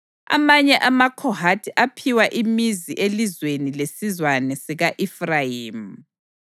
Amanye amaKhohathi aphiwa imizi elizweni lesizwana sika-Efrayimi.